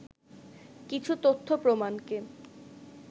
কিছু তথ্য প্রমাণকে